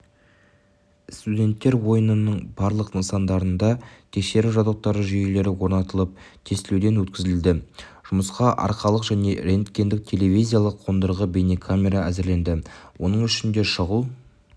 студенттер ойынының барлық нысандарында тексеру жабдықтары жүйелері орнатылып тестілеуден өткізілді жұмысқа аркалық және рентгендік-телевизиялық қондырғы бейнекамера әзірленді оның ішінде шұғыл